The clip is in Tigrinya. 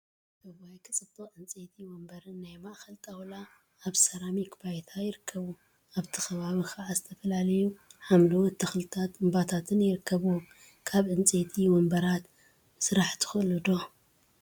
እዋይ! ክፅብቅ ዕንፀይቲ ወንበርን ናይ ማእከል ጣውላ አብ ሰራሚክ ባይታ ይርከቡ፡፡ አብቲ ከባቢ ከዓ ዝተፈላለዩ ሓምለዎት ተክልታትን እምባታትን ይርከቡዎም፡፡ ካብ ዕንፀይቲ ወንበራት ምስራሕ ትክእሉ ዶ?